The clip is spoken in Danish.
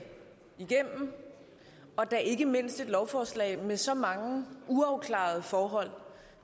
igennem og da ikke mindst et lovforslag med så mange uafklarede forhold og